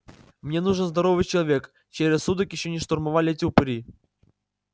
мне нужен здоровый человек чей рассудок ещё не штурмовали эти упыри